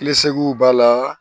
b'a la